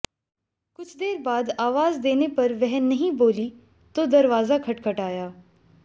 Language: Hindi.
कुछ देर बात आवाज देने पर वह नहीं बोली तो दरवाजा खटखटाया